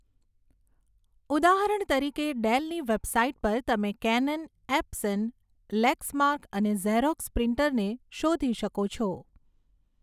ઉદાહરણ તરીકે, ડેલની વેબસાઇટ પર તમે કેનન, એપ્સન, લેક્સમાર્ક અને ઝેરોક્સ પ્રિન્ટરને શોધી શકો છો.